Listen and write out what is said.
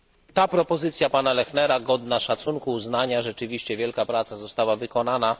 Ta propozycja pana Fechnera jest godna szacunku i uznania, rzeczywiście wielka praca została wykonana.